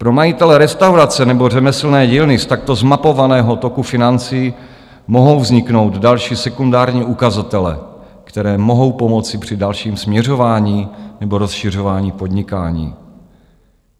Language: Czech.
Pro majitele restaurace nebo řemeslné dílny z takto zmapovaného toku financí mohou vzniknout další, sekundární ukazatele, které mohou pomoci při dalším směřování nebo rozšiřování podnikání.